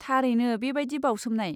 थारैनो बेबादि बावसोमनाय।